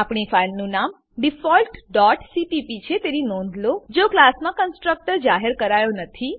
આપણી ફાઈલનું નામ ડિફોલ્ટ ડોટ સીપીપી છે તેની નોંધ લો જો ક્લાસમાં કન્સ્ટ્રકટર જાહેર કરાયો નથી